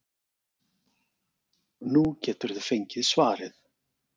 Nú geturðu fengið svarið.